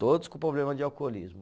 Todos com problema de alcoolismo.